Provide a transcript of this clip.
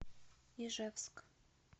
ижевск